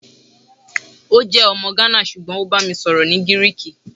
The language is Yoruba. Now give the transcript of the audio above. o jẹ ọmọ Ghanian ṣugbọn o ba mi sọrọ ni Giriki